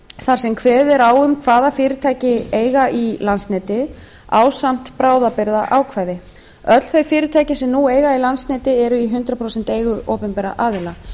þar sem kveðið er á um hvaða fyrirtæki eiga í landsneti ásamt bráðabirgðaákvæði öll þau fyrirtæki sem eiga í landsnet nú eru í hundrað prósent eigu opinberra aðila